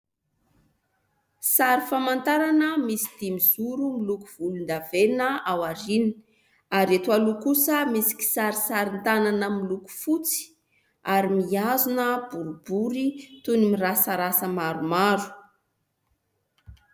Sary famantarana misy dimizoro miloko volon-davenona ao aoriana. Ary eto aloha kosa misy kisarisarin- tanana miloko fotsy, ary mihazona boribory toy ny mirasarasa maromaro.